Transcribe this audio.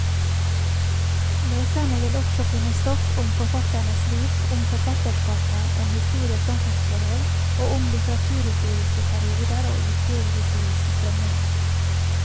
Leserne vil også finne stoff om forfatternes liv, om forfatterskapet, om historie og samfunnsforhold, og om litteraturhistoriske perioder og idehistoriske strømninger.